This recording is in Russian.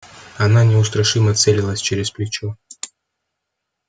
она неустрашимо целилась через плечо